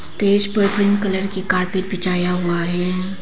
Stage पर green colour की carpet बिछाया हुआ है।